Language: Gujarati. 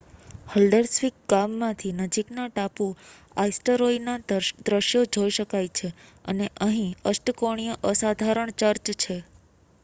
હલ્ડર્સ્વિક ગામમાંથી નજીકના ટાપુ આઇસ્ટરોયના દૃશ્યો જોઈ શકાય છે અને અહીં અષ્ટકોણીય અસાધારણ ચર્ચ છે